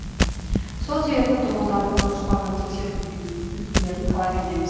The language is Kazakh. сол себепті тұрғындардың жоспарлы тексерулерден өтулерін талап етеміз